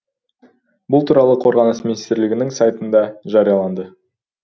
бұл туралы қорғаныс министрлігінің сайтында жарияланды